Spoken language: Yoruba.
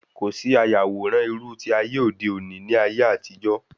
Kòsí ayàwòrán irú ti ayé òde òni ní ayé àtijó